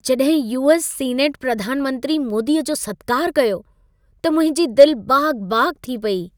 जॾहिं US. Senate प्रधान मंत्री मोदीअ जो सत्कार कयो, त मुंहिंजी दिल बाग़-बाग़ थी पेई।